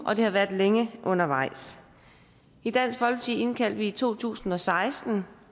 og det har været længe undervejs i dansk folkeparti indkaldte vi i to tusind og seksten